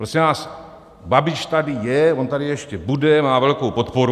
Prosím vás Babiš tady je, on tady ještě bude, má velkou podporu.